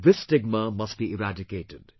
This stigma must be eradicated